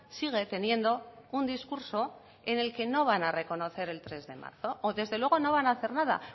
sigue teniendo un discurso en el que no van a reconocer el tres de marzo o desde luego no van a hacer nada